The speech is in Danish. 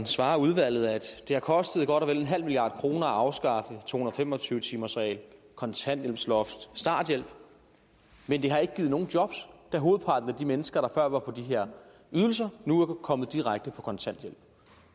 svarer udvalget at det har kostet godt og vel en halv milliard kroner at afskaffe to hundrede og fem og tyve timersreglen kontanthjælpsloftet starthjælpen men det har ikke givet nogen jobs da hovedparten af de mennesker der før var på de her ydelser nu er kommet direkte på kontanthjælp